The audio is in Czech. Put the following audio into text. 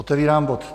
Otevírám bod